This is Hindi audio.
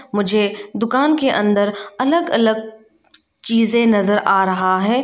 मुझे दुकान के अंदर अलग अलग चीजे नजर आ रहा है।